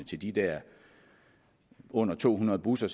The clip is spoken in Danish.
til de der under to hundrede busser